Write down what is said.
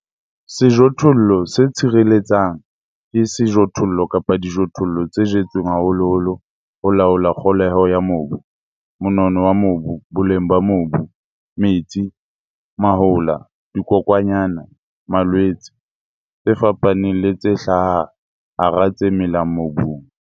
Sejothollo se tshireletsang ke sejothollo kapa dijothollo tse jetsweng haholoholo ho laola kgoholeho ya mobu, monono wa mobu, boleng ba mobu, metsi, mahola, dikokwanyana, malwetse, tse fapaneng le tse hlaha hara tse melang mobung.